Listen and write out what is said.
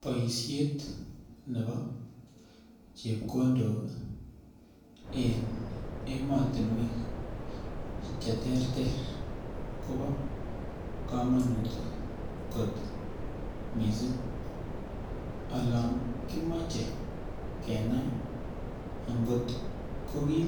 Boishet nebo chepkondok en emotinwek cheterter kobo kamanut kot mising' olon kimochei kenai ngot kokim